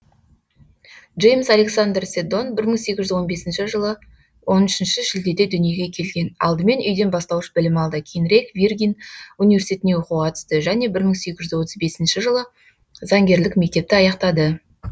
джеймс александр седдон бір мың сегіз жүз он бесінші жылы он үшінші шілдеде дүниеге келген алдымен үйден бастауыш білім алды кейінірек виргин университетіне оқуға түсті және мың сегіз жүз отыз бесінші жылы заңгерлік мектепті аяқтады